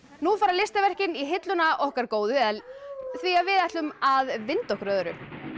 nú fara listaverkin í hilluna okkar góðu því við ætlum að vinda okkur að öðru